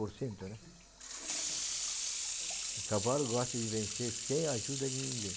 por cento, né? O cavalo gosta de vencer sem a ajuda de ninguém.